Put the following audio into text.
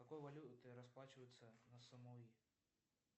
какой валютой расплачиваются на самуи